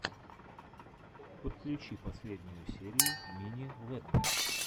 подключи последнюю серию мини лэдда